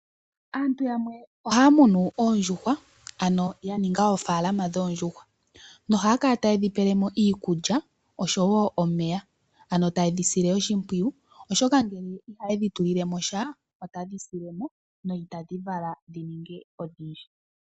Aantu yamwe oha ya munu oondjuhwa ano ya ninga oofalama dhoondjuhwa noha ya kala taye dhi pelemo iikulya oshowo omeya ano taye dhi sile oshimpwiyu oshoka ngele iha ye dhi tulilemosha ota dhi silemo no ita dhi vala dhi ninge odhindji.